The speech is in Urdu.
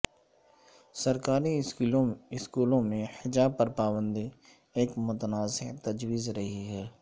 سرکاری سکولوں میں حجاب پر پابندی ایک متنازع تجویز رہی ہے